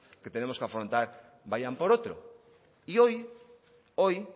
que tenemos que afrontar vayan por otro y hoy hoy